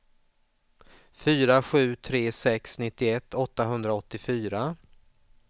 fyra sju tre sex nittioett åttahundraåttiofyra